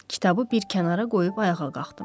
Kitabı bir kənara qoyub ayağa qalxdım.